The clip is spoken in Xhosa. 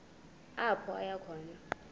apho aya khona